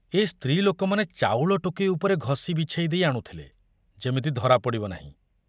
ଏ ସ୍ତ୍ରୀ ଲୋକମାନେ ଚାଉଳ ଟୋକେଇ ଉପରେ ଘଷି ବିଛେଇ ଦେଇ ଆଣୁଥିଲେ, ଯେମିତି ଧରା ପଡ଼ିବ ନାହିଁ।